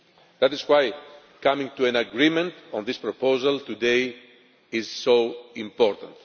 That is why coming to an agreement on this proposal today is so important.